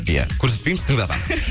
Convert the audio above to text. иә көрсетпейміз тыңдатамыз жақсы